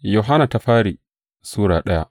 daya Yohanna Sura daya